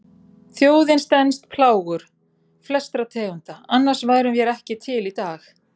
Þjóðin stenst plágur flestra tegunda, annars værum vér ekki til í dag.